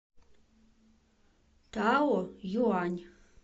таоюань